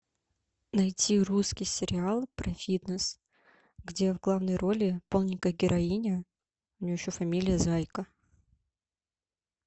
найти русский сериал про фитнес где в главной роли полненькая героиня у нее еще фамилия зайка